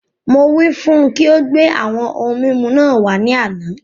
Mo wí fún ùn kí o gbé àwọn ohun mímu náà wàá ní àna